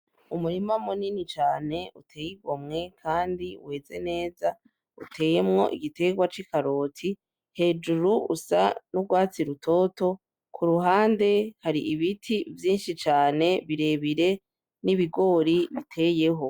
Umurima muninini cane uteye igomwe kandi weze neza, uteyemwo igiterwa c'ikaroti hejuru usa n'urwatsi rutoto. Kuruhande hari ibiti vyinshi cane birebire n'ibigori biteyeho.